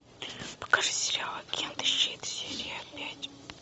покажи сериал агенты щит серия пять